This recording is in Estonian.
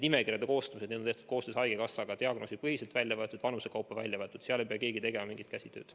Nimekirjad on koostatud koostöös haigekassaga, andmed on välja võetud diagnoosipõhiselt ja vanuse kaupa, seal ei pea keegi tegema mingit käsitööd.